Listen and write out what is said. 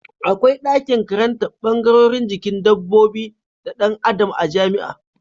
Akwai dakin karantar bangarorin jikin dabbobi da Dan Adam a jamia